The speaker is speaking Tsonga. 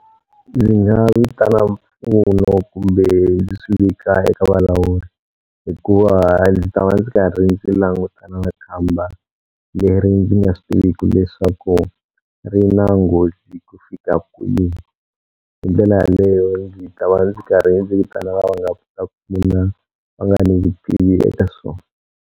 Ndzi nga vitana mpfuno kumbe ndzi swi vika eka valawuri hikuva ndzi ta va ndzi karhi ndzi langutana na khamba leri ndzi nga swi tiviku leswaku ri na nghozi ku fika kwini hi ndlela yaleyo ndzi ta va ndzi karhi ndzi vitana va va nga va nga ni vutivi eka swona.